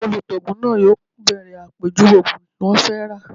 Olùtaògùn náà yóò bèrè àpèjúwe ògùn tí wọ́n fẹ́ rà